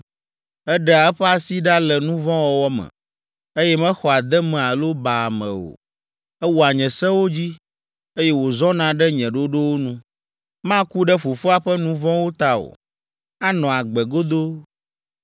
Eɖea eƒe asi ɖa le nu vɔ̃ wɔwɔ me, eye mexɔa deme alo baa ame o. Ewɔa nye sewo dzi, eye wòzɔna ɖe nye ɖoɖowo nu. Maku ɖe fofoa ƒe nu vɔ̃wo ta o; anɔ agbe godoo.